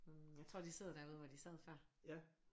Hm jeg tror de sidder derude hvor de sad før